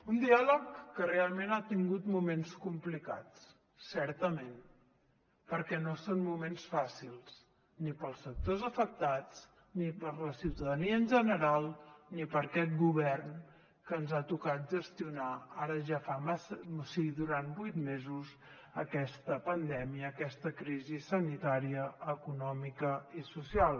un diàleg que realment ha tingut moments complicats certament perquè no són moments fàcils ni per als sectors afectats ni per a la ciutadania en general ni per a aquest govern que ens ha tocat gestionar durant vuit mesos aquesta pandèmia aquesta crisi sanitària econòmica i social